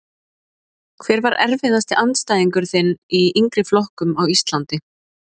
Hver var erfiðasti andstæðingurinn þinn í yngri flokkum á Íslandi?